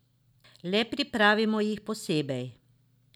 Le pripravimo jih posebej.